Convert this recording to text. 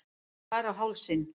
Skar á hálsinn.